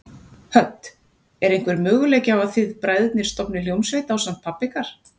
Hödd: Er einhver möguleiki á að þið bræðurnir stofnið hljómsveit ásamt pabba ykkar?